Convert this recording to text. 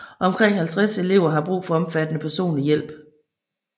Omkring 50 elever har brug for omfattende personlig hjælp